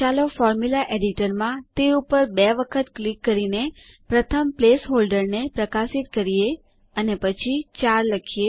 ચાલો ફોર્મ્યુલા એડિટરમાં તે ઉપર બે વખત ક્લિક કરીને પ્રથમ પ્લેસહોલ્ડરને પ્રકાશિત કરીએ અને પછી 4 લખીએ